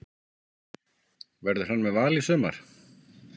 Verður hann með Val í sumar?